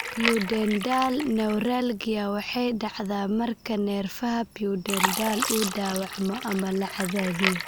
Pudendal neuralgia waxay dhacdaa marka neerfaha pudendal uu dhaawacmo ama la cadaadiyo.